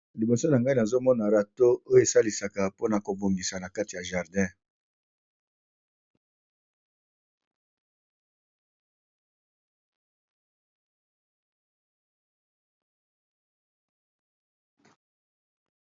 limosio ya ngai nazomona rato oyo esalisaka mpona kobongisa na kati ya jardin